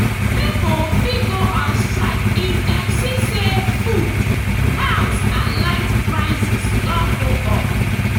pipo fit go on strike if dem see say food house and light prices don go up